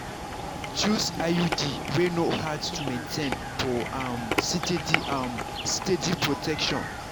choose iud wey no hard to maintain for um steady um steady protection.